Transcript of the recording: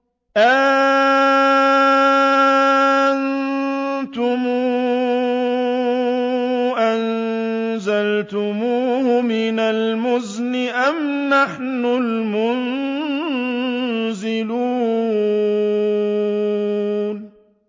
أَأَنتُمْ أَنزَلْتُمُوهُ مِنَ الْمُزْنِ أَمْ نَحْنُ الْمُنزِلُونَ